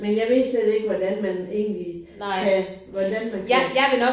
Men jeg ved slet ikke hvordan man egentlig kan hvordan man kan